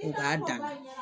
U k'a dan